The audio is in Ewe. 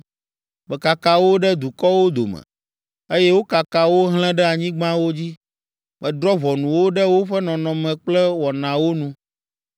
Mekaka wo ɖe dukɔwo dome, eye wokaka wo hlẽ ɖe anyigbawo dzi. Medrɔ̃ ʋɔnu wo ɖe woƒe nɔnɔme kple wɔnawo nu.